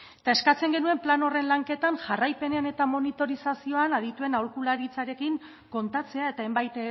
eta eskatzen genuen plan horren lanketan jarraipenean eta monitorizazioan adituen aholkularitzarekin kontatzea eta hainbat